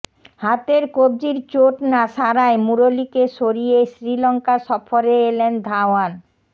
হাতের কব্জির চোট না সারায় মুরলীকে সরিয়ে শ্রীলঙ্কা সফরে এলেন ধাওয়ান